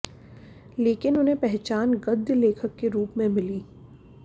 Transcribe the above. लेकिन उन्हें पहचान गद्य लेखक के रूप में मिली